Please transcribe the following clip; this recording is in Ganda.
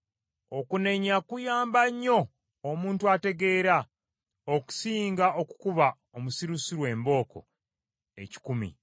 Okunenya kuyamba nnyo omuntu ategeera, okusinga okukuba omusirusiru embooko ekikumi.